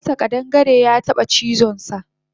Eh karensa ƙadangare yataba cizonsa